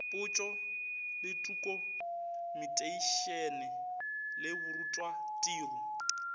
potšo le tokumeteišene le borutwatiro